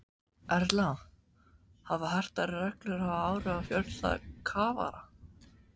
Erla, hafa hertar reglur haft áhrif á fjölda kafara?